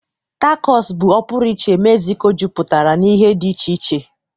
Tacos bụ ọpụrụiche Mexico jupụtara na ihe dị iche iche.